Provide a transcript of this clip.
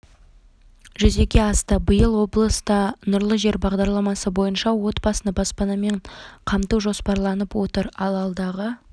жүзеге асты биыл облыста нұрлы жер бағдарламасы бойынша отбасыны баспанамен қамту жоспарланып отыр ал алдағы